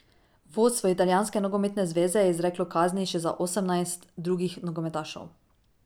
Vodstvo Italijanske nogometne zveze je izreklo kazni še za osemnajst drugih nogometašev.